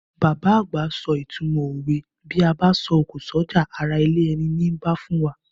Bàbá àgbà so ìtumọ̀ òwe Bí a bá sọ̀kò s'ọ́jà, ará ilé ẹni nii bá fún wa.